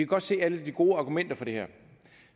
godt se alle de gode argumenter for det her